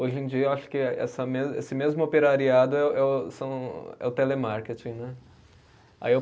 Hoje em dia eu acho que essa me, esse mesmo operariado é o é o, são é o telemarketing, né? Aí eu